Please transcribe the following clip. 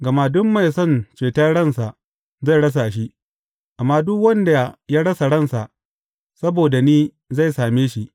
Gama duk mai son ceton ransa zai rasa shi, amma duk wanda ya rasa ransa saboda ni zai same shi.